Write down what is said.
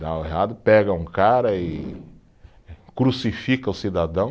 Dá errado, pega um cara e crucifica o cidadão.